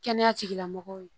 Kɛnɛya tigilamɔgɔw ye